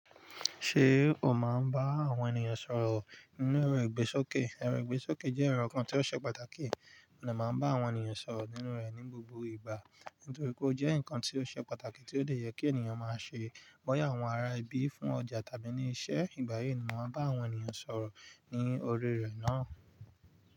Ṣé o máa ń bá àwọn ènìyàn sọ̀rọ̀ nínú ero ìgbésókè? Ẹrọ ìgbésókè jẹ́ ẹrọ kan tí ó ṣe pàtàkì, mo dẹ máà máa ń bá àwọn ènìyàn sọ̀rọ̀ nínú rẹ̀ ní gbogbo ìgbà, nítorí pé ó jẹ́ nǹkan tí ó ṣe pàtàkì tí ó dẹ yẹ kí ènìyàn máa ṣe bọ́yà àwọn ará ibi fún ọjà tàbí ní iṣẹ́ ìgbáyi ni. Mo máa ń bá àwọn ènìyàn sọ̀rọ̀ ní orí rẹ̀ náà.